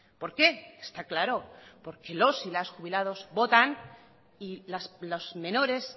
por qué está claro porque los y las jubilados votan y los menores